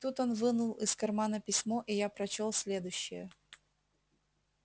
тут он вынул из кармана письмо и я прочёл следующее